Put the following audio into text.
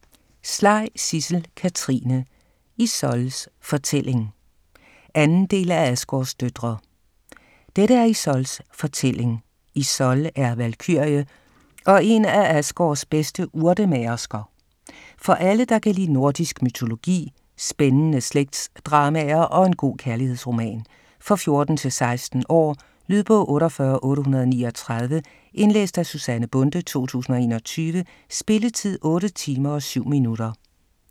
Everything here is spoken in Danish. Slej, Sidsel Katrine: Íssóls fortælling 2. bind. del af Asgårds døtre. Dette er Íssóls fortælling. Íssól er valkyrie og en af Asgårds bedste urtemagersker. For alle, der kan lide nordisk mytologi, spændende slægtsdramaer og en god kærlighedsroman. For 14-16 år. Lydbog 48839 Indlæst af Susanne Bonde, 2021. Spilletid: 8 timer, 7 minutter.